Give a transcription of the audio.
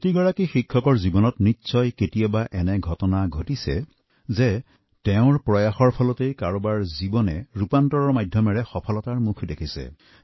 প্ৰত্যেক শিক্ষকৰ জীৱনত কোনোবা নহয় কোনোবা ছাত্ৰৰ পৰিৱৰ্তনৰ খনিকৰস্বৰূপ হোৱাৰ উদাহৰণ আছে